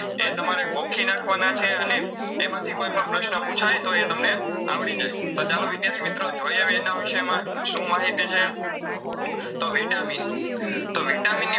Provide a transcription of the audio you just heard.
એ તમારે ગોખી નાખવાના છે અને એમાંથી કોઈપણ પ્રશ્ન પૂછાય તો એ તમને આવડી જાય તો ચાલો વિદ્યાર્થી મિત્રો જોઈ હવે એના વિષયમાં શું માહિતી છે તો vitamin તો vitamin ની